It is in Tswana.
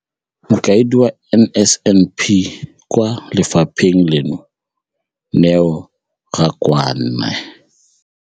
Mokaedi wa NSNP kwa lefapheng leno, Neo Rakwena.